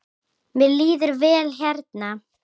Mér líður vel hérna.